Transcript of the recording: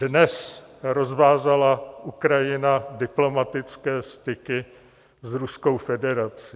Dnes rozvázala Ukrajina diplomatické styky s Ruskou federací.